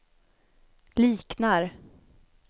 liknar